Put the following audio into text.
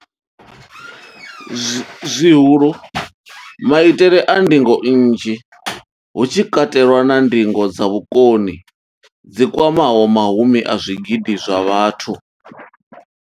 Zwihulu, maitele a ndingo nnzhi, hu tshi katelwa na ndingo dza vhukoni dzi kwamaho mahumi a zwigidi zwa vhathu.